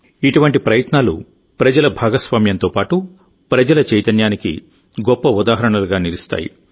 ఇటువంటి ప్రయత్నాలు ప్రజల భాగస్వామ్యంతో పాటు ప్రజల చైతన్యానికి గొప్ప ఉదాహరణలుగా నిలుస్తాయి